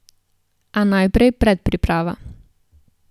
A najprej predpriprava.